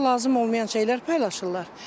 Orda lazım olmayan şeylər paylaşırlar.